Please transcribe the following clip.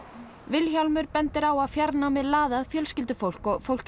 Vilhjálmur bendir á að fjarnámið laði að fjölskyldufólk og fólk